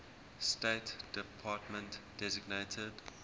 state department designated